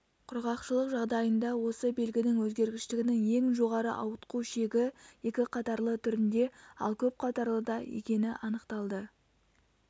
құрғақшылық жағдайында осы белгінің өзгергіштігінің ең жоғары ауытқу шегі екі қатарлы түрінде ал көп қатарлыда екені анықталды